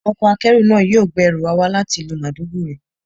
Ọkọ̀ akérò náà yóò gbé ẹrù wa wá láti ìlú Maiduguri.